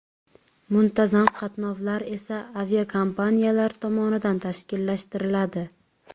Muntazam qatnovlar esa aviakompaniyalar tomonidan tashkillashtiriladi.